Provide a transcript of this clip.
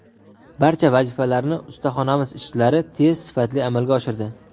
Barcha vazifalarni ustaxonamiz ishchilari tez, sifatli amalga oshirdi.